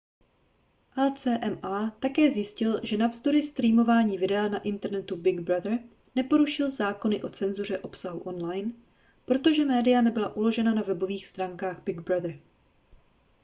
acma také zjistil že navzdory streamování videa na internetu big brother neporušil zákony o cenzuře obsahu online protože média nebyla uložena na webových stránkách big brother